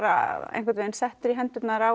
einhvern veginn settur í hendur á